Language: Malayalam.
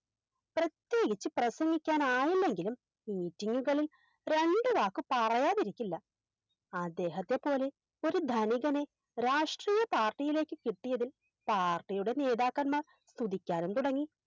പ്രത്യേകിച്ച് പ്രസംഗിക്കാൻ ആയില്ലെങ്കിലും Meeting ഉകളിൽ രണ്ടു വാക്ക് പറയാതിരിക്കില്ല അദ്ദേഹത്തെ പോലെ ഒരു ധനികനെ രാഷ്ട്രീയ Party യിലേക്ക് കിട്ടിയതിൽ Party യുടെ നേതാക്കന്മാർ കുതിക്കാനും തുടങ്ങി